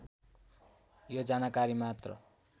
यो जानकारी मात्र